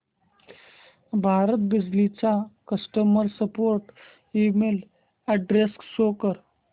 भारत बिजली चा customer support email address show कर